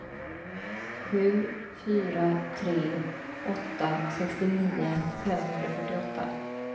sju fyra tre åtta sextionio femhundrafyrtioåtta